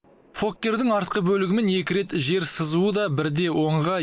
фоккердің артқы бөлігімен екі рет жер сызуы да бірде оңға